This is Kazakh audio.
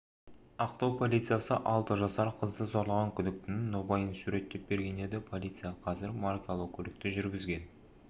ақтау полициясы алты жасар қызды зорлаған күдіктінің нобайын суреттеп берген еді полиция қазір маркалы көлікті жүргізген